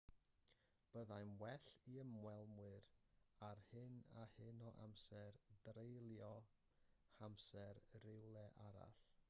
byddai'n well i ymwelwyr â hyn a hyn o amser dreulio'u hamser rywle arall